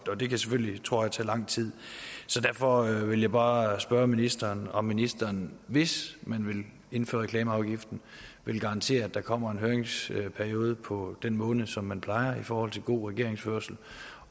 det kan selvfølgelig tror jeg tage lang tid derfor vil jeg bare spørge ministeren om ministeren hvis man vil indføre reklameafgiften vil garantere at der kommer en høringsperiode på den måned som man plejer at give i forhold til god regeringsførelse